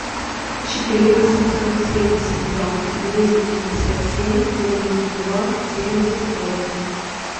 четыре восемьсот семьдесят два двести пятьдесят семь девяносто два семьдесят восемь